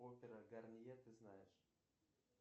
опера гарнье ты знаешь